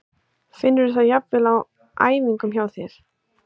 Finnurðu það jafnvel á æfingum hjá þér?